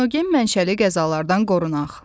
Texnogen mənşəli qəzalardan qorunaq.